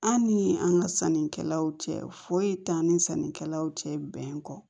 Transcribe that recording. An ni an ka sannikɛlaw cɛ foyi t'an ni sannikɛlaw cɛ bɛn kɔ